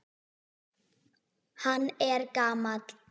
Hann er gamall.